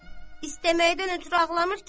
İstəməkdən ötrü ağlamır ki.